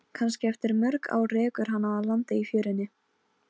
Kannski eftir mörg ár rekur hana að landi í fjörunni.